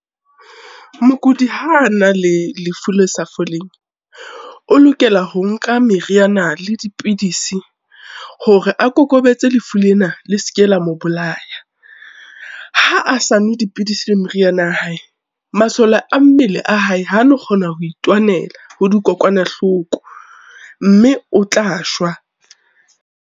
Mokudi ha a na le lefu le sa foleng, o lokela ho nka meriana le dipidisi, hore a kokobetse lefu lena le se ke la mo bolaya. Ha a sa nwe dipidisi le meriana ya hae, masole a mmele a hae ha no kgona ho itwanela ho dikokwanahloko mme o tla shwa.